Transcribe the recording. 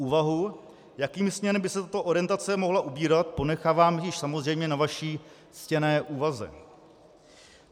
Úvahu, jakými směrem by se tato orientace mohla ubírat, ponechávám již samozřejmě na vaší ctěné úvaze.